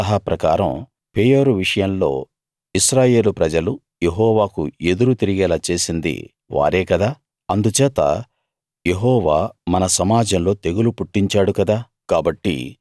బిలాము సలహా ప్రకారం పెయోరు విషయంలో ఇశ్రాయేలు ప్రజలు యెహోవాకు ఎదురు తిరిగేలా చేసింది వారే కదా అందుచేత యెహోవా మన సమాజంలో తెగులు పుట్టించాడు కదా